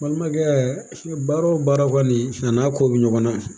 Balimakɛ baara o baara kɔni a n'a ko bɛ ɲɔgɔn na